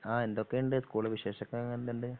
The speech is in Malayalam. ആ എന്തൊക്കെണ്ട് സ്ക്കൂൾ വിശേഷൊക്കെ എങ്ങനെണ്ട്